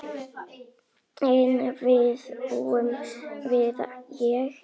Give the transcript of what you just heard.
En viðbúin var ég ekki.